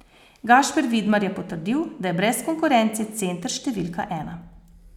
Gašper Vidmar je potrdil, da je brez konkurence center številka ena.